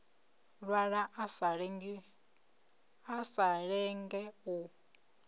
lwala a sa lenge u